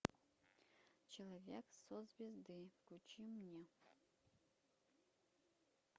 человек со звезды включи мне